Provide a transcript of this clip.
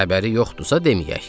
Xəbəri yoxdursa deməyək.